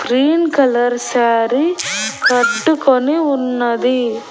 Green colour sari కట్టుకొని ఉన్నది.